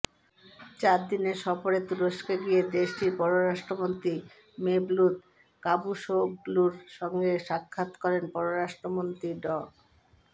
চার দিনের সফরে তুরস্কে গিয়ে দেশটির পররাষ্ট্রমন্ত্রী মেভলুত কাভুসোগলুর সঙ্গে সাক্ষাৎ করেন পররাষ্ট্রমন্ত্রী ড